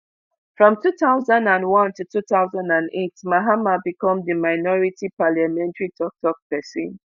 from two thousand and one to two thousand and eight mahama become di minority parliamentary tok tok pesin